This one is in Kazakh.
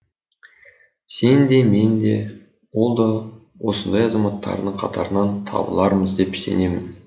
сен де мен де ол да осындай азаматтардың қатарынан табылармыз деп сенемін